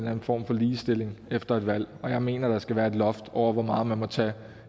anden form for ligestilling efter et valg og jeg mener at der skal være et loft over hvor meget man må tage